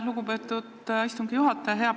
Lugupeetud istungi juhataja!